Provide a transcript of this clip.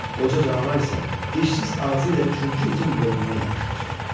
Qoca canavar isə dişsiz ağzı ilə üçüncü itin boynundan yapışmışdı.